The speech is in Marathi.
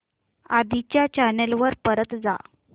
आधी च्या चॅनल वर परत जा